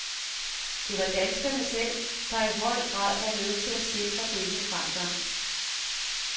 Det var danskerne selv, der i høj grad var med til at sikre denne fremgang.